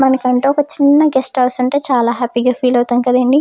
మన కంటూ ఒక చిన్న గెస్ట్ హౌస్ ఉంటే చాలా హ్యాపీగా ఫీలవు తాం కదా అండి.